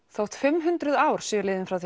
þótt fimm hundruð ár séu liðin frá